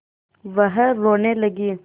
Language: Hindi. वह रोने लगी